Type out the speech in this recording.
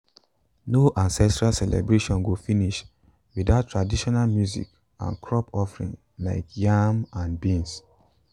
no ancestral celebration go finish without traditional music and crop offering like yam and beans.